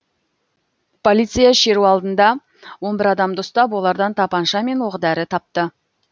полиция шеру алдында он бір адамды ұстап олардан тапанша мен оқ дәрі тапты